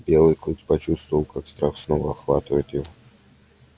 белый клык почувствовал как страх снова охватывает его